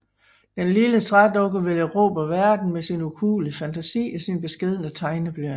Den lille trædukke vil erobre verden med sin ukuelige fantasi og sin beskedne tegneblyant